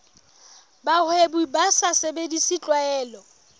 bahwebi ba sa sebedise tlwaelo